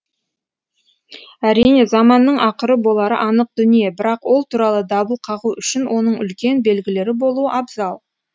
әрине заманның ақыры болары анық дүние бірақ ол туралы дабыл қағу үшін оның үлкен белгілері болуы абзал